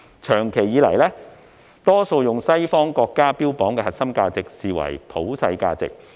長久以來，我們很多時候會把西方國家標榜的核心價值視為普世價值。